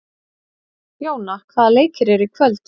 Jóna, hvaða leikir eru í kvöld?